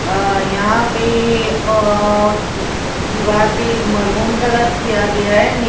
यहां पे और दीवार पर मैरून कलर किया गया है।